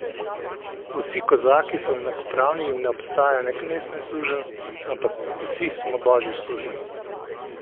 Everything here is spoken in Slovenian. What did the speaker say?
Vsi kozaki so enakopravni in ne obstaja ne knez ne suženj, ampak smo vsi božji sužnji.